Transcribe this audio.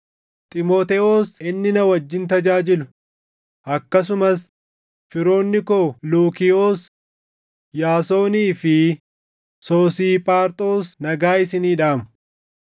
Xiimotewos inni na wajjin tajaajilu, akkasumas firoonni koo Luukiyoos, Yaasonii fi Soosiiphaaxroos nagaa isinii dhaamu.